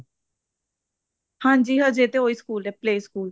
ਹਾਂਜੀ ਹਜੇ ਤਾਂ ਉਹੀ ਸਕੂਲ ਐ play ਸਕੂਲ